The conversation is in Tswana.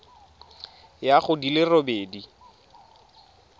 ya go di le robedi